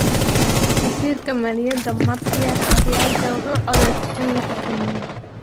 Wasiirka Maaliyadda, Matia Kasaija, wuxuu codsaday in la xakameeyo.